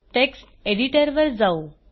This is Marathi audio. टेक्स्ट एडिटरवर जाऊ